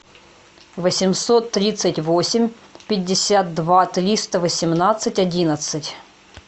восемьсот тридцать восемь пятьдесят два триста восемнадцать одиннадцать